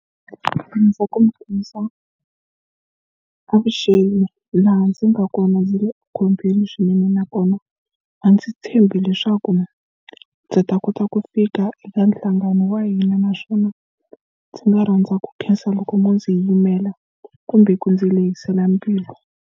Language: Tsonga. avuxeni laha ndzi nga kona ndzi le ekhombyeni swinene nakona a ndzi tshembi leswaku ndzi ta kota ku fika eka nhlangano wa hina naswona ndzi nga rhandza ku khensa loko mo ndzi yimela kumbe ku ndzi lehisela mbilu.